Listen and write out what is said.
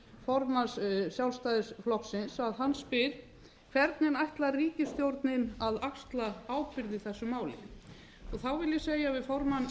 formanns sjálfstæðisflokksins að hann spyr hvernig ætlar ríkisstjórnin að axla ábyrgð í þessu máli ég vil segja við formann